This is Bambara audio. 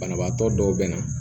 Banabaatɔ dɔw bɛ na